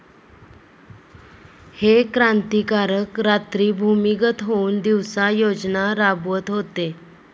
हे क्रांतिकारक रात्री भूमिगत होऊन दिवसा योजना राबवत होते